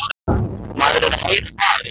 Maður er að heyra það, já.